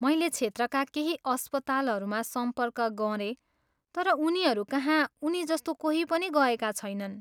मैले क्षेत्रका केही अस्पतालहरूमा सम्पर्क गरेँ तर उनीहरूकहाँ उनीजस्तो कोही पनि गएका छैनन्।